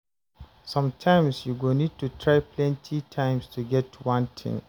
Sometimes you go need to try plenty times to get one thing